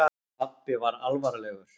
Pabbi var alvarlegur.